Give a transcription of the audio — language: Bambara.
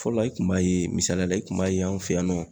Fɔlɔ la i kun b'a ye misaliyala i kun b'a ye an fɛ yan nɔ